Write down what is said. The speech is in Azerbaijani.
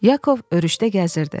Yakov örüşdə gəzirdi.